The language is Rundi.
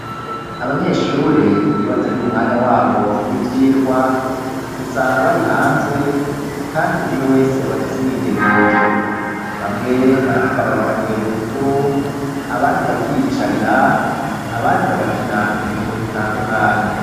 Abanyeshure iyo batari mu mwanya wabo w'ivyirwa usanga bari hanze kandi umwe wese abafise umwidegemvyo bamwe barahagarara bagatera udukuru abandi bakiyicarira abandi bagakina udukino dutandukanye.